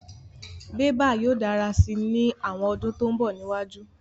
Bébà yóò dára si ní àwọn ọdún tó mbọ̀ níwájú